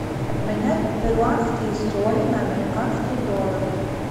обменять перуанские соли на американские доллары